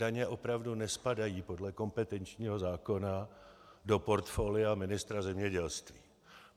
Daně opravdu nespadají podle kompetenčního zákona do portfolia ministra zemědělství.